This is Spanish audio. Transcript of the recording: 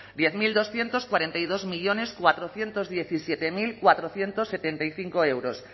diez mil doscientos cuarenta y dos millónes cuatrocientos diecisiete mil cuatrocientos setenta y cinco euros